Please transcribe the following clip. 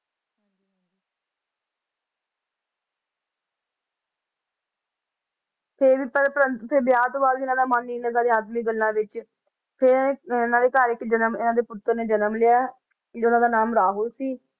ਫਿਰ ਪਰ~ ਪ੍ਰੰਤੂ ਫਿਰ ਵਿਆਹ ਤੋਂ ਬਾਅਦ ਵੀ ਇਹਨਾਂ ਦਾ ਮਨ ਹੀ ਇਹਨਾਂ ਦਾ ਅਧਿਆਤਮਕ ਗੱਲਾਂ ਵਿੱਚ ਫਿਰ ਅਹ ਇਹਨਾਂ ਦੇ ਘਰ ਇੱਕ ਜਨਮ ਇਹਨਾਂ ਦੇ ਪੁੱਤਰ ਨੇ ਜਨਮ ਲਿਆ ਫਿਰ ਉਹਨਾਂ ਦਾ ਨਾਮ ਰਾਹੁਲ ਸੀ